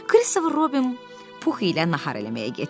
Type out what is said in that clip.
Kristofer Robin Pux ilə nahar eləməyə getdilər.